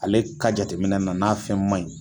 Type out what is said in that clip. Ale ka jateminɛ na n'a fɛn man ɲi